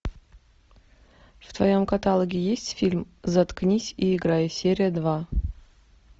в твоем каталоге есть фильм заткнись и играй серия два